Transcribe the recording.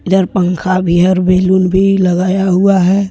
यहां पंखा भी है और बैलून भी लगाया हुआ है।